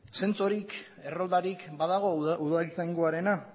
zentsorik erroldarik badago udaltzaingoarena